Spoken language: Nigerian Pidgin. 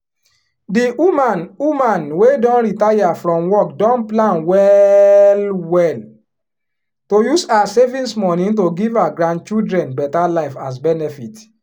di woman woman wey don retire from work don plan well well to use her savings money to give her grandchildren better life as benefit